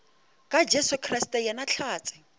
ka jesu kriste yena hlatse